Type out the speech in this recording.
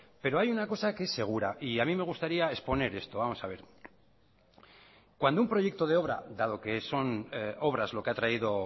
pero hay una cosa que es segura y a mí me gustaría exponer esto dado que son obras lo que ha traído